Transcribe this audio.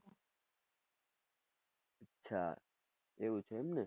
અચ્છા એવું છે એમ